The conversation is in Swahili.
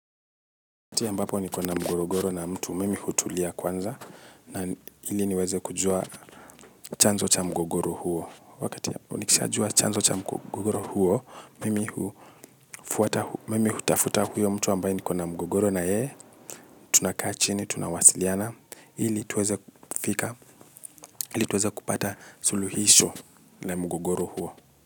Wakati ambapo niko na mgogoro na mtu, mimi hutulia kwanza na ili niweze kujua chanzo cha mgogoro huo. Wakati ambapo nikishajua chanzo cha mgogoro huo, mimi hutafuta huyo mtu ambaye nikona mgogoro na yeye, tunakaa chini, tunawasiliana, ili tuweze kupata suluhisho la mgogoro huo.